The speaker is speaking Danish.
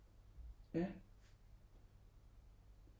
Ja